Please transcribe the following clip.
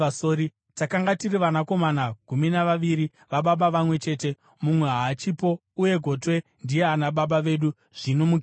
Takanga tiri vanakomana gumi navaviri vababa vamwe chete. Mumwe haachipo, uye gotwe ndiye ana baba vedu zvino kuKenani.’ ”